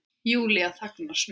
Júlía þagnar snöggt.